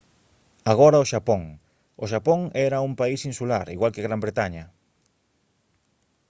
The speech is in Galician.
agora o xapón o xapón era un país insular igual que gran bretaña